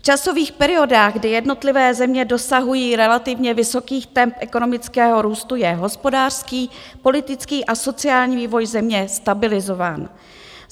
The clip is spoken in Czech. V časových periodách, kdy jednotlivé země dosahují relativně vysokých temp ekonomického růstu, je hospodářský, politický a sociální, vývoj země stabilizován.